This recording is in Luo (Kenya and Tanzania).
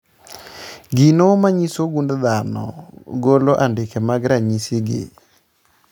Gigo manyiso gund dhano golo andike mag ranyisi gi